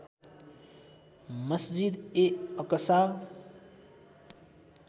मस्जिद ए अकसा